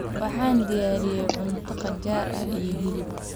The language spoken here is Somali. Waxaan diyaariyey cunto qajaar ah iyo hilib.